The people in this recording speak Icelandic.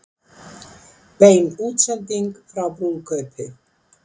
Bein útsending frá brúðkaupi